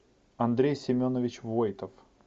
андрей семенович войтов